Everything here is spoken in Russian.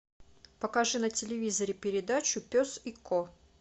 покажи на телевизоре передачу пес и ко